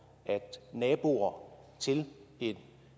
naboerne til